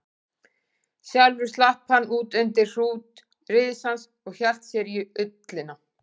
Sjálfur slapp hann út undir hrút risans og hélt sér í ullina.